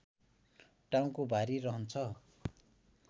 टाउको भारी रहन्छ